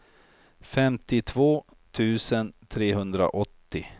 femtiotvå tusen trehundraåttio